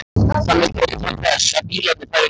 Þannig beið hann þess að bílarnir færu hjá.